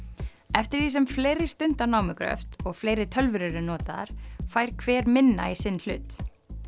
eftir því sem fleiri stunda námugröft og fleiri tölvur eru notaðar fær hver minna í sinn hlut